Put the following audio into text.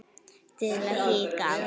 Til að hika aldrei.